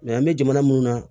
an bɛ jamana mun na